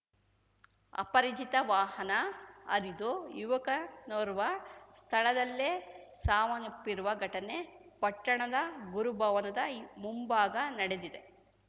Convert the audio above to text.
ಅಪರಿಚಿತ ವಾಹನ ಹರಿದು ಯುವಕನೋರ್ವ ಸ್ಥಳದಲ್ಲೇ ಸಾವನ್ನಪ್ಪಿರುವ ಘಟನೆ ಪಟ್ಟಣದ ಗುರುಭವನದ ಮುಂಭಾಗ ನಡೆದಿದೆ